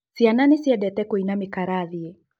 Ciana nĩciendete kũina mĩ kĩrathiĩ